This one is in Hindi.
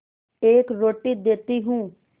एक रोटी देती हूँ